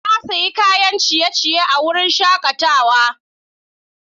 Na sayi kayan ciye-ciye a wurin shakatawa.